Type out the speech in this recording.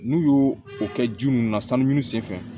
N'u y'o o kɛ ji ninnu na sanu sen fɛ